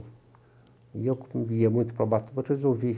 E eu como ia muito para Ubatuba resolvi.